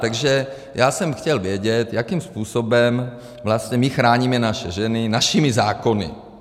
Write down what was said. Takže já jsem chtěl vědět, jakým způsobem vlastně my chráníme naše ženy našimi zákony.